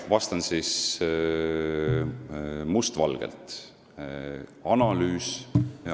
Vastan siis mustvalgelt.